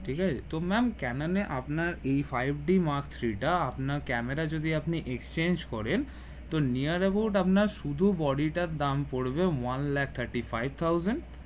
ঠিক আছে তো ম্যাম ক্যানেনে আপনার a five d mark three টা আপনার ক্যামেরায় যদি exchange করেন তো near about আপনার শুধু body টা দাম পরবে one lakh Thirty-five thousand